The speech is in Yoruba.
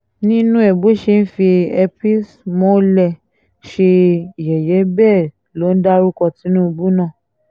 nínú ẹ̀ bó ṣe ń fi epismhole ṣe yẹ̀yẹ́ bẹ́ẹ̀ ló ń dárúkọ tinubu náà